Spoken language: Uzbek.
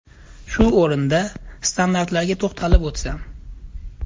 Shu o‘rinda, standartlarga to‘xtalib o‘tsam.